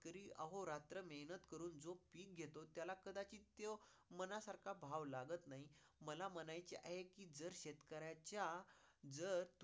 अहो रात्र मेहनत करून जो पीक घेतो त्याला कदाचित तो मनासारखा भाव लागत नाही. मला म्हणायचे आहे कि जर शेतकऱ्याच्या जर